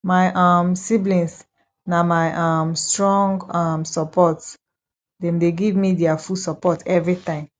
my um siblings na my um strong um support dem dey give me their full support everytime